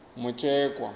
mutshekwa